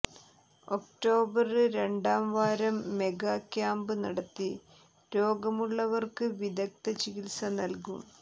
October രണ്ടാം വാരം mega camp നടത്തി രോഗമുള്ളവര്ക്ക് വിദഗ്ദ്ധ ചികിത്സ നല്കും